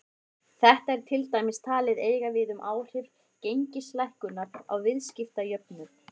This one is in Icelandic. Þetta er til dæmis talið eiga við um áhrif gengislækkunar á viðskiptajöfnuð.